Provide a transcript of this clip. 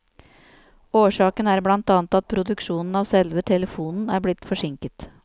Årsaken er blant annet at produksjonen av selve telefonen er blitt forsinket.